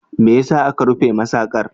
Me ya sa aka rufe masaƙar?